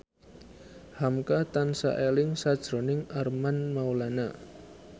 hamka tansah eling sakjroning Armand Maulana